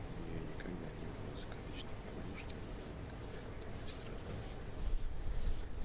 у нее никогда не было закадычной подружки но она никогда от этого не страдала